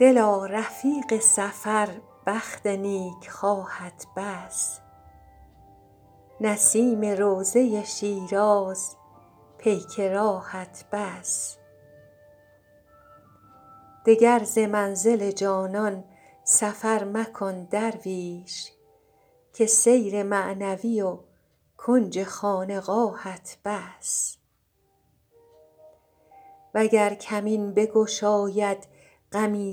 دلا رفیق سفر بخت نیکخواهت بس نسیم روضه شیراز پیک راهت بس دگر ز منزل جانان سفر مکن درویش که سیر معنوی و کنج خانقاهت بس وگر کمین بگشاید غمی